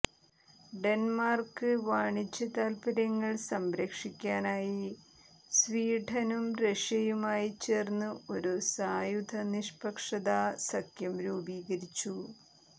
Denmark വാണിജ്യതാത്പര്യങ്ങൾ സംരക്ഷിക്കാനായി സ്വീഡനും റഷ്യയുമായിച്ചേർന്ന് ഒരു സായുധ നിഷ്പക്ഷതാ സഖ്യം രൂപീകരിച്ചു